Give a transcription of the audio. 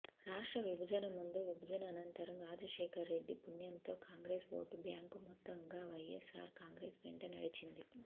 రాష్ట్ర విభజన ముందు విభజన అనంతరం రాజశేఖరరెడ్డి పుణ్యంతో కాంగ్రెస్ ఓటు బ్యాంకు మొత్తంగా వైఎస్ఆర్ కాంగ్రెస్ వెంట నడిచింది